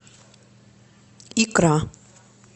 икра